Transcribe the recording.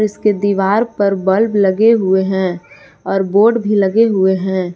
इसके दीवार पर बल्ब लगे हुए हैं और बोर्ड भी लगे हुए हैं।